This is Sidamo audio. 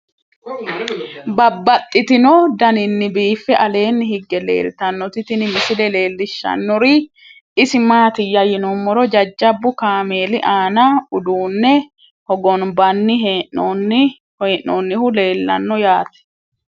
Babaxxittinno daninni biiffe aleenni hige leelittannotti tinni misile lelishshanori isi maattiya yinummoro jajabbu kaameelli aanna uduunne hogonbanni hee'noonnihu leelanno yaatte